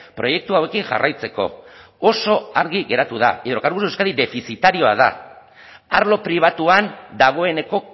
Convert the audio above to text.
proiektu hauekin jarraitzeko oso argi geratu da hidrocarburos de euskad defizitarioa da arlo pribatuan dagoeneko